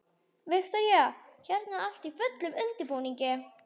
Viktoría: Hérna er allt í fullum undirbúningi?